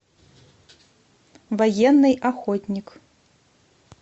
военный охотник